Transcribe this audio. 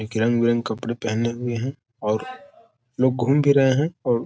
एक रंग बिरंग कपडें पहने हुए हैं और लोग घूम भी रहे हैं और --